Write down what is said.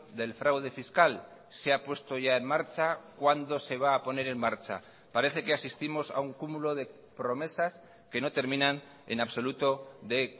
del fraude fiscal se ha puesto ya en marcha cuándo se va a poner en marcha parece que asistimos a un cúmulo de promesas que no terminan en absoluto de